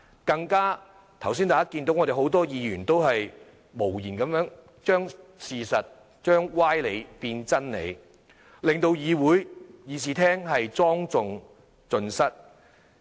更甚的是，剛才大家也看到，很多議員都無言地將事實......將歪理變真理，令議事廳莊重盡失。